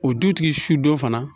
O dutigi su don fana